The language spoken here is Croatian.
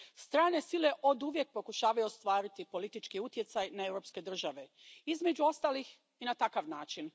Strane sile oduvijek pokušavaju ostvariti politički utjecaj na europske države, između ostalih i na takav način.